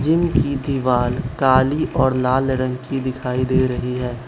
Gym की दीवाल काली और लाल रंग की दिखाई दे रही है।